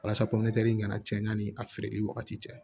Walasa kana cɛn yanni a feereli wagati cɛ